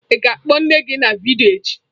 Ị ga-akpọ nne gị na vidiyo echi?